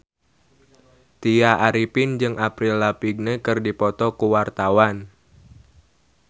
Tya Arifin jeung Avril Lavigne keur dipoto ku wartawan